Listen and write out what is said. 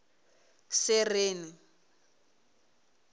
sereni